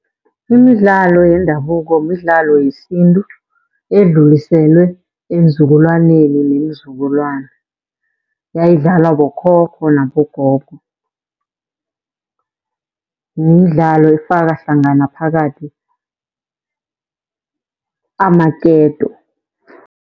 Imidlalo yendabuko midlalo yesintu, edluliselwe eenzukulwaneni neenzukulwana. Yayidlawala bokhokho nabogogo. Midlalo efaka hlangana phakathi amaketo.